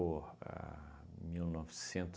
o a mil